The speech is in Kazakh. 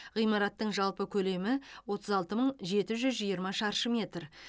ғимараттың жалпы көлемі отыз алты мың жеті жүз жиырма шаршы метр